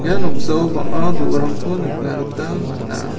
ia noksao bang·a do·orangko nikna gita man·a.